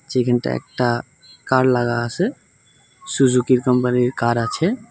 যেইখানটায় একটা কার লাগা আসে সুজুকি কোম্পানির কার আছে।